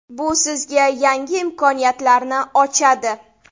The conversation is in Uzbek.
Bu sizga yangi imkoniyatlarni ochadi.